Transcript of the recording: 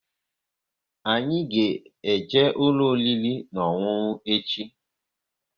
Anyị ga-eje ụlọ oriri na ọṅụṅụ echi!